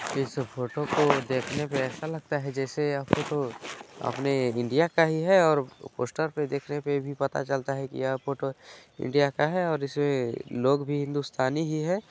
इस फोटो को देखने पे ऐसा लगता है जैसे यह फोटो अपने इंडिया का है और पोस्टर पे देखने पे भी पता चलता है की यह फोटो इंडिया का ही है और इसमें लोग भी हिन्दुस्तानी ही है।